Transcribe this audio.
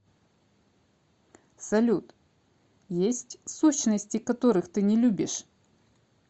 салют есть сущности которых ты не любишь